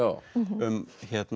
um